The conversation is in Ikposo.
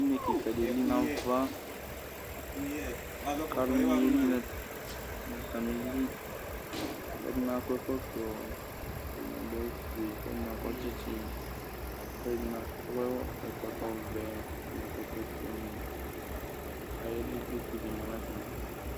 Une kɩka dɩ eli nʋ ava kʋ alʋnɩ yeli nʋ atamɩli kʋ ɛdɩnɩ akɔ ɛkɔtɔ kʋ ɛdɩnɩ adʋ awʋfue kʋ ɛdɩnɩ akɔ tsɩtsɩ kʋ ɛdɩnɩ akɔ ɛkɔtɔvɛ nʋ ɛkɔtɔfuenɩ kʋ ayeli kʋ utu dɩ ma nʋ atamɩɛtʋ